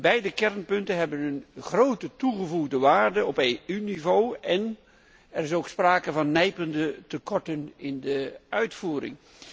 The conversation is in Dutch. Beide kernpunten hebben een grote toegevoegde waarde op EU niveau en er is ook sprake van nijpende tekorten in de uitvoering.